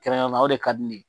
Kɛrɛnkɛrɛnyana o de ka di ne ye.